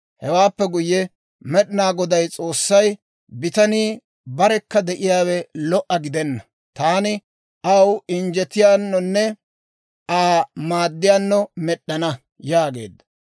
Hewaappe guyye Med'inaa Goday S'oossay, «Bitanii barekka de'iyaawe lo"a gidenna; taani aw injjetiyaanonne Aa maaddiyaano med'ana» yaageedda.